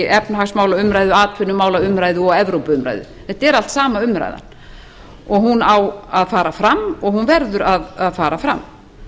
í efnahagsmálaumræðu atvinnumálaumræðu og evrópuumræðu þetta er allt sama umræðan og hún á að fara fram og hún verður að fara fram